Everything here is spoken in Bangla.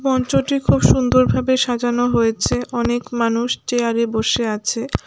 মঞ্চটি খুব সুন্দরভাবে সাজানো হয়েছে অনেক মানুষ চেয়ার -এ বসে আছে।